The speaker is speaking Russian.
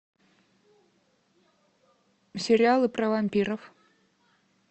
сериалы про вампиров